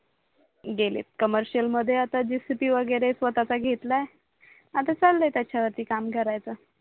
गेलेत COMMERCIAL मध्ये आता जेसीपी वगैरे स्वताचा घेतला आता चालय त्याच्यावरती काम करायच